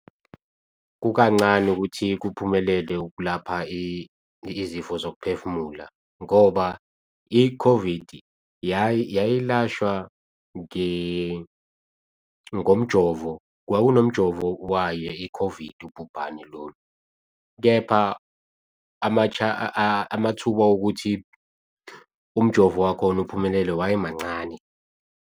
Kukancane ukuthi kuphumelele ukulapha izifo zokuphefumula ngoba i-COVID yayilashwa ngomjovo, kwaku nomjovo wayo i-COVID ubhubhane lolu. Kepha amathuba okuthi umjovo wakhona uphumelele waye mancane.